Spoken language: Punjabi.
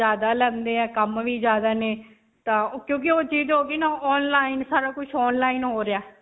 ਜਿਆਦਾ ਲੈਂਦੇ ਹੈ ਕੰਮ ਵੀ ਜਿਆਦਾ ਨੇ ਤਾਂ ਕਿਉਂਕਿ ਓਹ ਚੀਜ ਹੋ ਗਈ ਨਾ online. ਸਾਰਾ ਕੁਝ online ਹੋ ਰਿਹਾ.